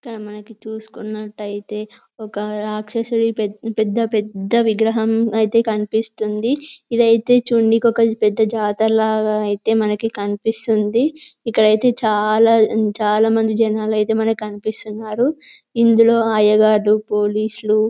ఇక్కడ మనకి చూసుకున్నట్టయితే ఒక రాక్షసుడి పెద్ద పెద్ద విగ్రహం అయితే కనిపిస్తుంది . ఇదైతే చుడనికి ఒక పెద్ద జాతర లాగ అయితే మనకి కనిపిస్తుంది . ఇక్కడైతే చాలా చాలా మంది జనాలు అయితే మనకు కనిపిస్తున్నారు . ఇందులో అయ్యగారు పోలీసులు--